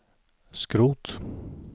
skrot